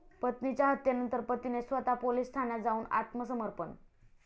पत्नीच्या हत्येनंतर पतीने स्वतः पोलीस ठाण्यात जाऊन आत्मसमर्पण.